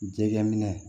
Jɛgɛ minɛ